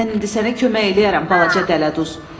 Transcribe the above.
Mən indi sənə kömək eləyərəm, balaca dələduz.